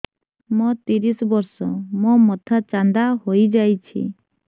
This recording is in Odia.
ମୋ ତିରିଶ ବର୍ଷ ମୋ ମୋଥା ଚାନ୍ଦା ହଇଯାଇଛି